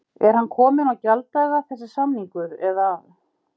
Er hann kominn á gjalddaga þessi samningur eða?